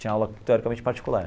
Tinha aula teoricamente particular.